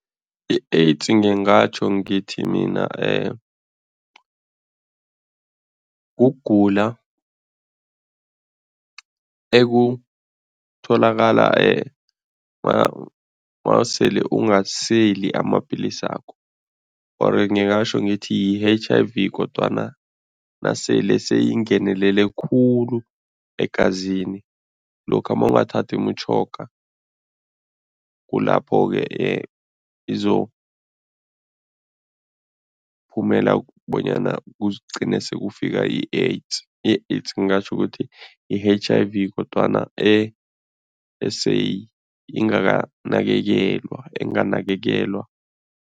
I-AIDS ngingatjho ngithi mina kugula ekutholakala mawusele ungaseli amapilisakho or ngingatjho ngithi yi-H_I_V kodwana nasele seyingenelele khulu egazini. Lokha mawungathathi imitjhoga, kulapho-ke izokuphumela bonyana kuzigcine sekufika ku-AIDS, i-AIDS ngingatjho ukuthi yi-H_I_V kodwana eseyingakanakekelwa, enganakekeIwa.